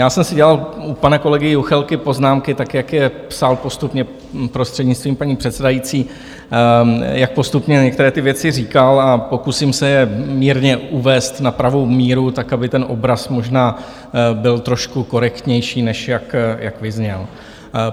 Já jsem si dělal u pana kolegy Juchelky poznámky tak, jak je psal postupně, prostřednictvím paní předsedající, jak postupně některé ty věci říkal a pokusím se je mírně uvést na pravou míru tak, aby ten obraz možná byl trošku korektnější, než jak vyzněl.